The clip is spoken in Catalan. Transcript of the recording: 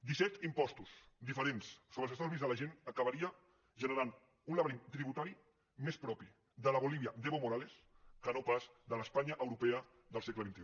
disset impostos diferents sobre els estalvis de la gent acabarien generant un laberint tributari més propi de la bolívia d’evo morales que no pas de l’espanya europea del segle xxi